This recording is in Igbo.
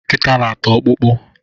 Nkita na ata ọkpụkpụ